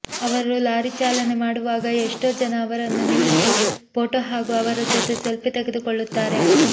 ಅವರು ಲಾರಿ ಚಾಲನೆ ಮಾಡುವಾಗ ಎಷ್ಟೋ ಜನ ಅವರನ್ನು ನಿಲ್ಲಿಸಿ ಫೋಟೋ ಹಾಗು ಅವರ ಜೊತೆ ಸೆಲ್ಫಿ ತೆಗುದುಕೊಳ್ಳುತಾರೆ